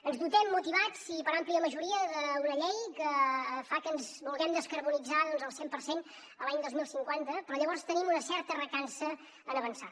ens dotem motivats i per àmplia majoria d’una llei que fa que ens vulguem descarbonitzar al cent per cent l’any dos mil cinquanta però llavors tenim una certa recança a avançar